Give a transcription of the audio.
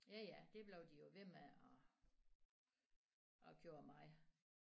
Ja ja det blev de jo ved med og og gjorde meget